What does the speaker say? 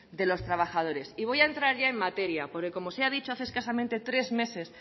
de los trabajadores y voy a entrar ya en materia porque como se ha dicho hace escasamente tres meses